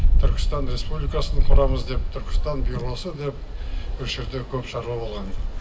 түркістан республикасын құрамыз деп түркістан осы деп осы жерде көп шаруа болған